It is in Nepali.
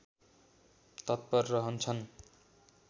तत्पर रहन्छन्